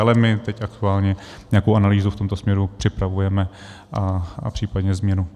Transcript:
Ale my teď aktuálně nějakou analýzu v tomto směru připravujeme, a případně změnu.